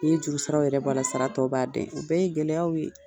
N'i ye juru saraw yɛrɛ bɔ a la, a tɔw b'a den , o bɛɛ ye gɛlɛyaw ye